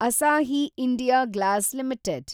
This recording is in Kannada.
Asahi India Glass limited